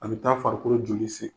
A bɛ taa farikolo joli